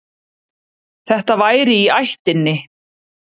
Þetta væri í ættinni.